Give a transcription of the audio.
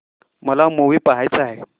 मला मूवी पहायचा आहे